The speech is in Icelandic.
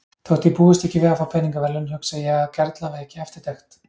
Þótt ég búist ekki við að fá peningaverðlaun hugsa ég að kerla veki eftirtekt.